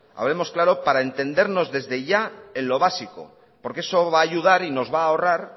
hablemos claro para entendernos desde ya en lo básico porque eso va a ayudar y nos va a ahorrar